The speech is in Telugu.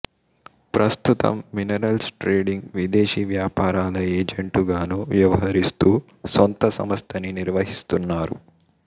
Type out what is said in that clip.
ప్రస్తుతం మినరల్స్ ట్రేడింగ్ విదేశీ వ్యాపారాల ఏజంటు గానూ వ్యవహరిస్తూ సొంత సంస్థని నిర్వహిస్తున్నారు